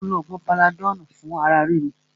Mó lo oògùn panadọ́lù fún ara ríro.